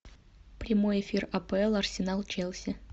прямой эфир апл арсенал челси